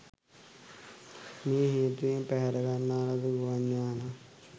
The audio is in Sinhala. මේ හේතුවෙන් පැහැරගන්නා ලද ගුවන් යානය